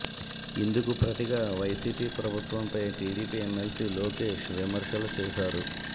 ఇందుకు ప్రతిగా వైసిపి ప్రభుత్వంపై టిడిపి ఎమ్మెల్సీ లోకేష్ విమర్శలు చేశారు